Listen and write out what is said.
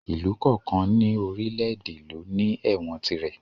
Ìlú kọ̀ọ̀kan ní orílè èdè ló ní ẹ̀wọ̀n tirẹ̀